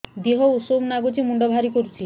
ଦିହ ଉଷୁମ ନାଗୁଚି ମୁଣ୍ଡ ଭାରି କରୁଚି